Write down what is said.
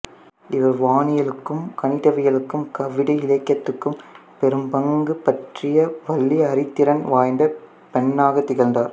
இவர் வானியலுக்கும் கணிதவியலுக்கும் கவிதை இலக்கியத்துக்கும் பெரும்பங்கு பற்ரிய வலிய அறிதிறன் வாய்ந்த பெண்ணாகத் திகழ்ந்தார்